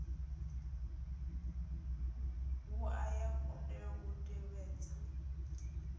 wua ya kundelwa u tevhedza